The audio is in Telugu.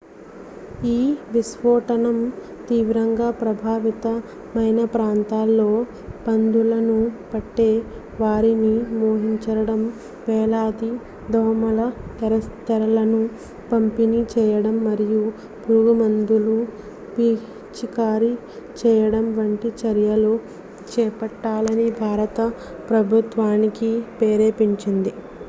ఈ విస్ఫోటనం తీవ్రంగా ప్రభావిత మైన ప్రాంతాల్లో పందుల ను పట్టే వారిని మోహరించడం వేలాది దోమల తెరలను పంపిణీ చేయడం మరియు పురుగుమందులు పిచికారీ చేయడం వంటి చర్యలు చేపట్టాలని భారత ప్రభుత్వానికి ప్రేరేపించింది